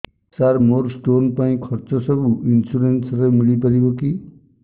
ସାର ମୋର ସ୍ଟୋନ ପାଇଁ ଖର୍ଚ୍ଚ ସବୁ ଇନ୍ସୁରେନ୍ସ ରେ ମିଳି ପାରିବ କି